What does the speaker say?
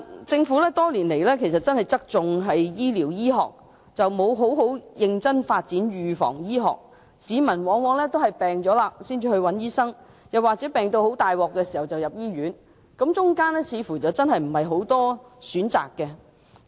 政府多年來側重於醫療醫學，沒有認真發展預防醫學，市民往往在患病時才求診，又或在病入膏肓時入院，其間似乎沒有太多選擇。